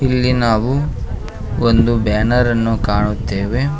ಇಲ್ಲಿ ನಾವು ಒಂದು ಬ್ಯಾನರನ್ನು ಕಾಣುತ್ತೆವೆ.